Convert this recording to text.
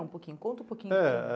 Um pouquinho, conta um pouquinho. É